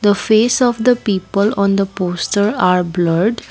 the face of the people on the poster are blurred.